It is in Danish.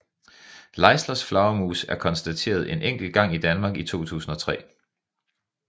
Leislers flagermus er konstateret en enkelt gang i Danmark i 2003